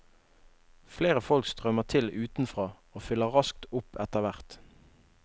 Flere folk strømmer til utenfra og fyller raskt opp etterhvert.